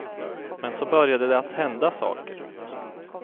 Men så började det att hända saker.